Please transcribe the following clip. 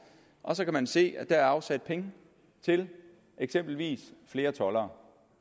og så kan man se at der er afsat penge til eksempelvis flere toldere